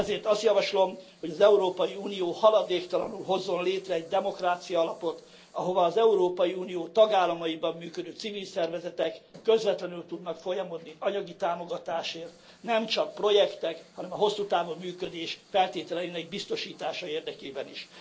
Ezért azt javaslom, hogy az Európai Unió haladéktalanul hozzon létre egy demokráciaalapot, ahova az Európai Unió tagállamaiban működő civil szervezetek közvetlenül tudnak folyamodni anyagi támogatásért, nemcsak projektek, hanem a hosszú távú működés feltételeinek biztosítása érdekében is.